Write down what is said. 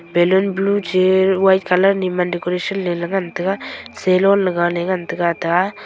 balloon blue chi white colour nee man decoration ngantega salon le galay ngantega ta a.